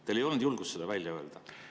Teil ei olnud julgust seda välja öelda.